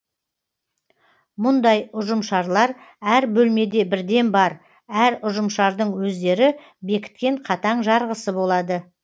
мұндай ұжымшарлар әр бөлмеде бірден бар әр ұжымшардың өздері бекіткен қатаң жарғысы болады